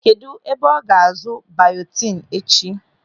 Kedụ ebe ọ ga-azụ bayotin echi?